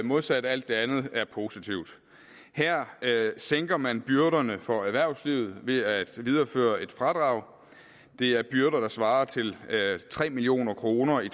modsat alt det andet er positivt her sænker man byrderne for erhvervslivet ved at videreføre et fradrag det er byrder der svarer til tre million kroner i